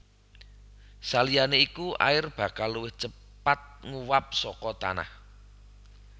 Saliyané iku air bakal luwih cepat nguwap saka tanah